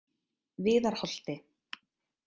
Viðarholti